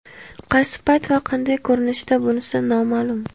Qaysi payt va qanday ko‘rinishda, bunisi noma’lum.